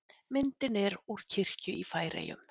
Myndin er úr kirkju í Færeyjum.